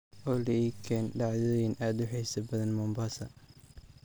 olly ii keen dhacdooyin aad u xiiso badan mombasa